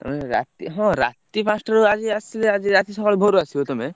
ତମେ ରାତି ହଁ ରାତି ପାଞ୍ଚଟାରୁ ଆଜି ଆସିଲେ ଆଜି ରାତି ସକାଳୁ ଭୋରୁ ଆସିବ ତମେ?